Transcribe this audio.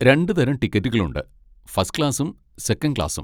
രണ്ട് തരം ടിക്കറ്റുകൾ ഉണ്ട്, ഫസ്റ്റ് ക്ലാസ്സും സെക്കൻഡ് ക്ലാസ്സും.